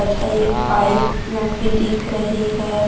तथा एक पाइप लंबी दिख रही है।